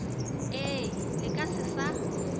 ee le ka se sa